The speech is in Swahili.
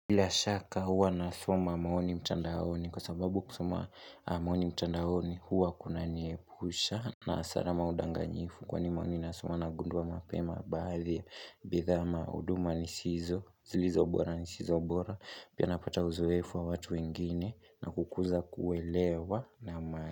Bila shaka huwa nasoma maoni mtandaoni kwa sababu kusoma maoni mchandahoni huwa kuna niepusha na asara ama udanganyifu kwani maoni nasoma na gunduwa mapema baadhi, bidhaa ama, uduma zilizo bora ni zisizo bora, pia napata uzuefu wa watu wengine na kukuza kuwelewa na maa.